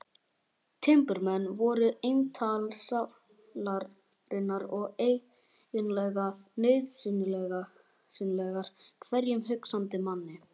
Timburmenn voru eintal sálarinnar og eiginlega nauðsynlegir hverjum hugsandi manni.